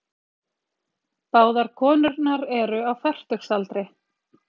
Báðar konurnar eru á fertugsaldri